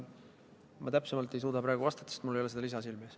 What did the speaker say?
Ma täpsemalt ei suuda praegu vastata, sest mul ei ole seda lisa silme ees.